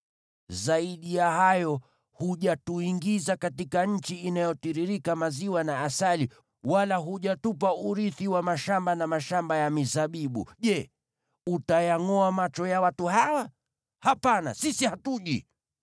Zaidi ya hayo, hujatuingiza katika nchi inayotiririka maziwa na asali, wala hujatupa urithi wa mashamba na mashamba ya mizabibu. Je, utayangʼoa macho ya watu hawa? Hapana, sisi hatuji!”